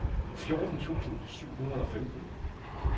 fjorten tusind syv hundrede og femten